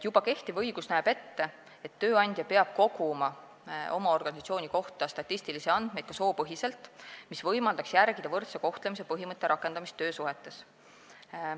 Juba kehtiv õigus näeb ette, et tööandja peab oma organisatsiooni kohta koguma statistilisi andmeid ka soopõhiselt, mis võimaldaks järgida võrdse kohtlemise põhimõtte rakendamist töösuhetes.